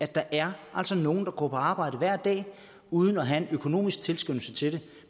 der altså er nogle der går på arbejde hver dag uden at have en økonomisk tilskyndelse til det